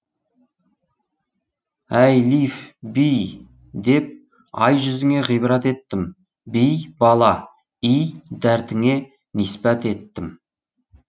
әилиф би деп ай жүзіңе ғибрат еттім би бала й дәртіңе нисбәт еттім